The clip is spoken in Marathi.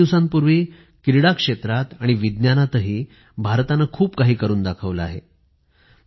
काही दिवसांपूर्वी क्रीडा क्षेत्रातही आणि विज्ञानातही भारताने खूप काही करून दाखवलं आहे